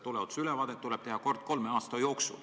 Tuleohutusülevaatus tuleb teha kord kolme aasta jooksul.